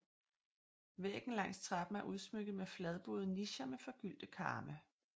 Væggen langs trappen er udsmykket med fladbuede nicher med forgyldte karme